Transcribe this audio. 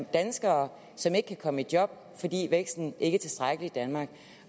danskere som ikke kan komme i job fordi væksten ikke er tilstrækkelig i danmark